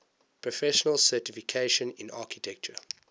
professional certification in architecture